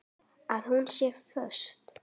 Að hún sé föst.